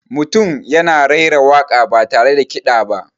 Mutum yana raira waka ba tare da kiɗa ba.